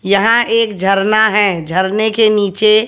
यहां एक झरना है झरने के नीचे--